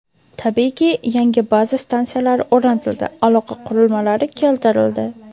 Tabiiyki, yangi baza stansiyalari o‘rnatildi, aloqa qurilmalari keltirildi.